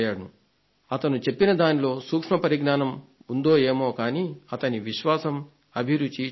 అతను చెప్పిన దానిలో సూక్ష్మ పరిజ్ఞానం ఉందో ఏమోకానీ అతని విశ్వాసం అభిరుచి చూశాను